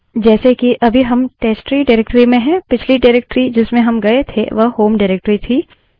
जैसे कि अभी हम testtree directory में हैं पिछली directory जिसमें हम गये थे वह home directory थी